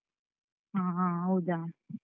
ಹ ಹಾ ಹೌದಾ?